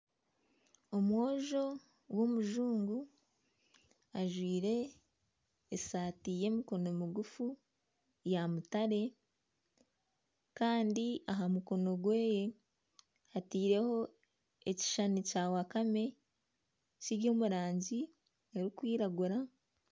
Omwojo w'omujungu ajwaire esaati y'emikono miguufu ya mutare kandi aha mukono gwe ataireho ekishushani kya wakame kiri omu rangi erikwiragura.